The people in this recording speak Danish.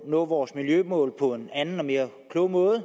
nå vores miljømål på en anden og mere klog måde